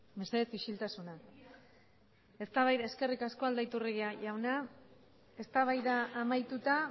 mesedez isiltasuna eskerrik asko aldaiturriaga jauna eztabaida amaituta